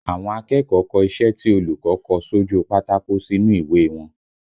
Àwọn akẹ́kọ̀ọ́ kọ iṣẹ́ tí olùkọ́ kọ sójú u pátákó sínú ìwé e wọn